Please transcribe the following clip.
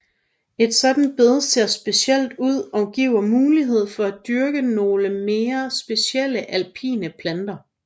Et sådant bed ser specielt ud og giver mulighed for at dyrke nogle mere specielle alpinplanter